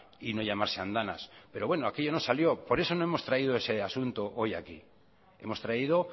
y no llamarse andanas pero bueno aquello no salió por eso no hemos traído ese asunto hoy aquí hemos traído